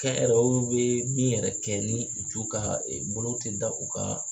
Kɛnyɛrɛyew bɛ min yɛrɛ kɛ ni u bolo tɛ da u ka